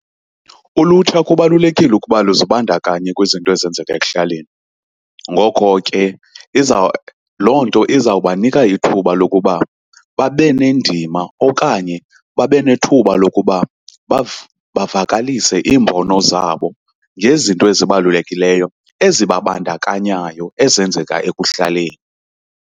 Ulutsha kubalulekile ukuba luzibandakanye kwizinto ezenzeka ekuhlaleni. Ngokho ke iza, loo nto izawubanika ithuba lokuba babe nendima okanye babe nethuba lokuba bavakalise iimbono zabo ngezinto ezibalulekileyo ezibabandakanyayo ezenzeka ekuhlaleni.